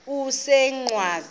kusengwaqa